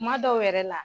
Kuma dɔw yɛrɛ la